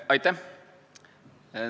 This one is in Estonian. Aitäh!